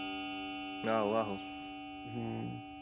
ਆਹੋ ਆਹੋ ਹਮ